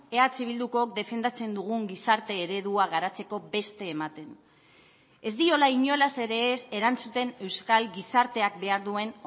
eh bilduko defendatzen dugun gizarte eredua garatzeko beste ematen ez diola inolaz ere ez erantzuten euskal gizarteak behar duen